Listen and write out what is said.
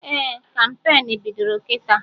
Ee, kampain bidoro kịta